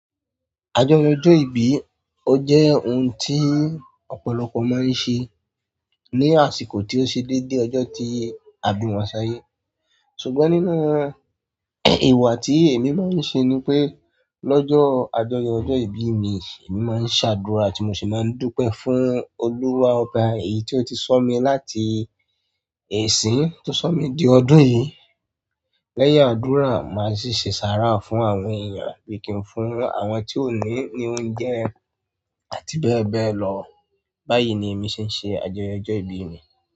Àjọyọ̀ ọjọ ìbí o jẹ òun ti ọ̀pọ̀lọpọ̀ maa ń ṣé ni àsìkò ti o ṣe dede ọjọ ti a bi wọn s'ayé ṣùgbọ́n nínú ìwà tí èmi máa ń ṣe ni pé, lọ́jọ́ àjọyọ̀ ọjọ́ ìbí mi, èmi máa ń ṣàdúrà tí mo sì máa ń dúpẹ́ fún Olúwa ọba èyí tí ó ti sọ̀ mí láti èsín tí ó sọ̀ mí di ọdún yìí. Lẹ́yìn ádùrá maa sì ṣe sáárá fún àwọn ènìyàn àbí ki ń fún àwọn ti o ni oúnjẹ àti bẹẹbẹ lọ. Báyìí ni èmi ṣe ń ṣe àjọyọ̀ ọjọ́ ìbí mi.